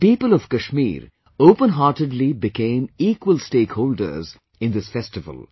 The people of Kashmir open heartedly became equal stakeholders in this festival